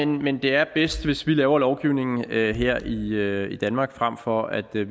men det er bedst hvis vi laver lovgivningen her her i i danmark frem for at vi